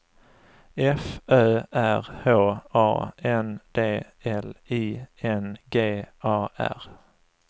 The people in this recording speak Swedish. F Ö R H A N D L I N G A R